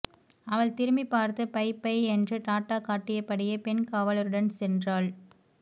அவள் திரும்பிப் பார்த்துப் பை பை என்று டாட்டா காட்டியபடியே பெண் காவலருடன் சென்றாள்